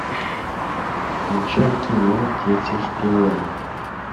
включай кино дети шпионы